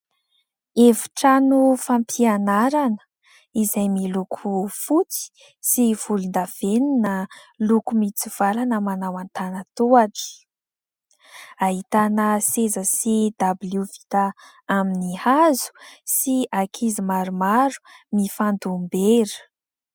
Efi-trano fampianarana izay miloko fotsy sy volondavenona, loko mitsivalana manao antanan-tohatra. Ahitana seza sy dabilio vita amin'ny hazo sy ankizy maromaro, mifandom-bera.